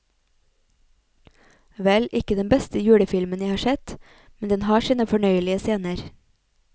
Vel, ikke den beste julefilmen jeg har sett, men den har sine fornøyelige scener.